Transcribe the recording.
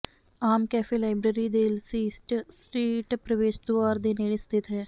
ਆਮ cafe library ਦੇ ਲਸੀਸਟ street ਪ੍ਰਵੇਸ਼ ਦੁਆਰ ਦੇ ਨੇੜੇ ਸਥਿਤ ਹੈ